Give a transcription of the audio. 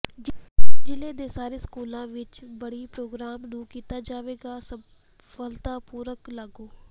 ਜ਼ਿਲ੍ਹੇ ਦੇ ਸਾਰੇ ਸਕੂਲਾਂ ਵਿਚ ਬੱਡੀ ਪ਼੍ਰੋਗਰਾਮ ਨੂੰ ਕੀਤਾ ਜਾਵੇਗਾ ਸਫਤਾਪੂਰਵਕ ਲਾਗੂ